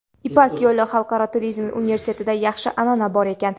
"Ipak yo‘li" Xalqaro turizm universitetida yaxshi an’ana bor ekan.